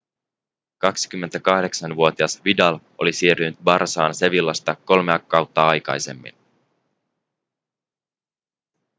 28-vuotias vidal oli siirtynyt barçaan sevillasta kolmea kautta aikaisemmin